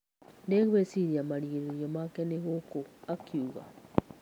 " Ndigũĩciria marigĩrĩrio make nĩ gũkũ, " akauga.